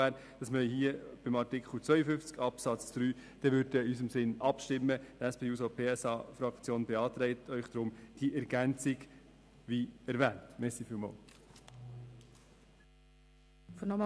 Wenn man aber beim Artikel 52 Absatz 3 nicht in unserem Sinn abstimmen würde, beantragt die SP-JUSO-PSA die erwähnte Ergänzung.